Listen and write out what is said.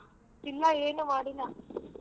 ಇಲ್ಲ ಏನು ಮಾಡಿಲ್ಲ.